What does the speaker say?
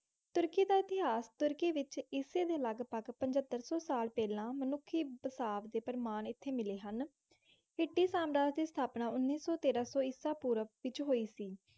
ਤੁਰਕੀ ਦਾ ਇਤਿਹਾਸ, ਤੁਰਕੀ ਵਿੱਚ ਈਸੇ ਦੇ ਲਗਭਗ ਪਝੰਤਰ-ਸੌ ਸਾਲ ਪਹਿਲਾਂ ਮਨੁੱਖੀ ਬਸਾਵ ਦੇ ਪ੍ਰਮਾਣ ਇੱਥੇ ਮਿਲੇ ਹਨ। ਹਿੱਟੀ ਸਾਮਰਾਜ ਦੀ ਸਥਾਪਨਾ ਉੱਨੀ ਸੌ - ਤੇਰਾਂ ਸੌ ਈਸਾ ਪੂਰਵ ਵਿੱਚ ਹੋਈ ਸੀ।